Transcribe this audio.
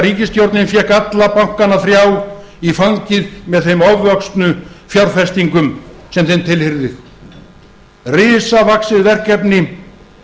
ríkisstjórnin fékk alla bankana þrjá í fangið með þeim ofvöxnu fjárfestingum sem þeim tilheyrði risavaxið verkefni